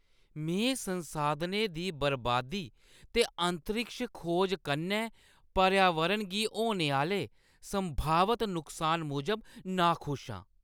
में संसाधनें दी बरबादी ते अंतरिक्ष खोज कन्नै पर्यावरण गी होने आह्‌ले संभावत नुकसान मूजब नाखुश आं।